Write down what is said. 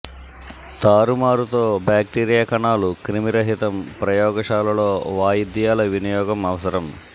తారుమారు తో బాక్టీరియా కణాలు క్రిమిరహితం ప్రయోగశాలలో వాయిద్యాల వినియోగం అవసరం